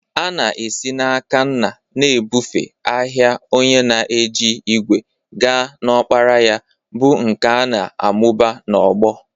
A na-esi n'aka nna na-ebufe ahịa onye na-eji ígwè gaa n'ọkpara ya, bụ́ nkà a na-amụba n'ọgbọ.